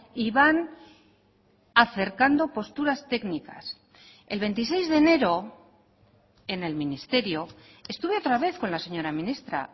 y van acercando posturas técnicas el veintiséis de enero en el ministerio estuve otra vez con la señora ministra